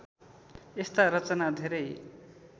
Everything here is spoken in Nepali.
यस्ता रचना धेरै